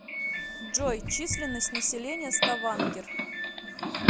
джой численность населения ставангер